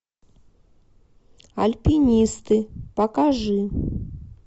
альпинисты покажи